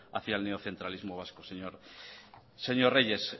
hacia el neocentralismo vasco señor reyes